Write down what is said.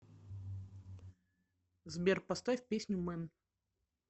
сбер поставь песню мэн